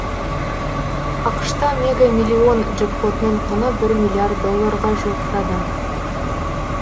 ақш та мега миллион джекпотының құны бір миллиард долларға жуықтады